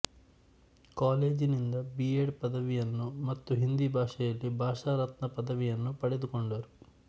ಕಾಲೇಜಿನಿಂದ B Ed ಪದವಿಯನ್ನೂ ಮತ್ತು ಹಿಂದಿ ಭಾಷೆಯಲ್ಲಿ ಭಾಷಾ ರತ್ನ ಪದವಿಯನ್ನು ಪಡೆದುಕೊಂಡರು